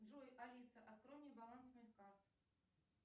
джой алиса открой мне баланс моих карт